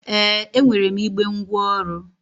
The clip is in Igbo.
Ee, e nwere m igbe ngwaọrụ